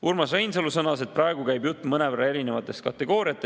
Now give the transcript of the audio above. Urmas Reinsalu sõnas, et praegu käib jutt mõnevõrra erinevatest kategooriatest.